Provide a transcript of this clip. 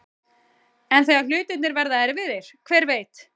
En þegar hlutirnir verða erfiðir, hver veit?